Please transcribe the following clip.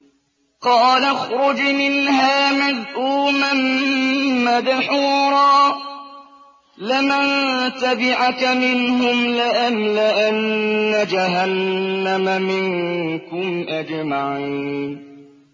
قَالَ اخْرُجْ مِنْهَا مَذْءُومًا مَّدْحُورًا ۖ لَّمَن تَبِعَكَ مِنْهُمْ لَأَمْلَأَنَّ جَهَنَّمَ مِنكُمْ أَجْمَعِينَ